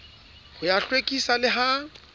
ho ya hlwekisa le ha